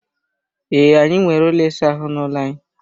Ee, anyị nwere ụlọ ịsa ahụ n'ụlọ anyị.